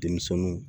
Denmisɛnninw